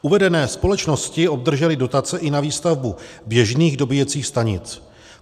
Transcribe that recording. Uvedené společnosti obdržely dotace na výstavbu i běžných dobíjecích stanic.